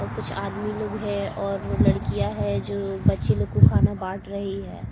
और कुछ आदमी लोग है और लड़कियां है जो बच्चे लोग को खाना बांट रही है।